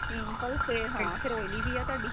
pimple ਫੇਰ ਹਾਂ ਫਿਰ oily ਵੀ ਏ ਤੁਹਾਡੀ